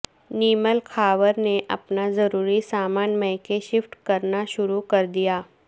نیمل خاور نے اپنا ضروری سامان میکے شفٹ کرنا شروع کر دیا